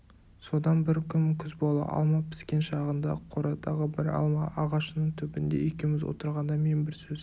содан бір күн күз бола алма піскен шағында қорадағы бір алма ағашының түбінде екеуміз отырғанда мен бір сөз